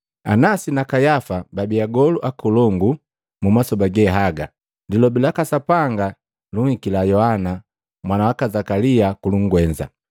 Anasi na Kayafa babi agolu akolongu, mumasoba ge haga Lilobi laka Sapanga lunhikila Yohana, mwana waka Zakalia kulungwenza.